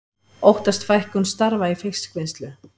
Óttast fækkun starfa í fiskvinnslu